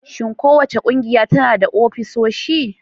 Shin kowace ƙungiya tana da ofisoshi?